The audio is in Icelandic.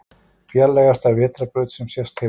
Fjarlægasta vetrarbraut sem sést hefur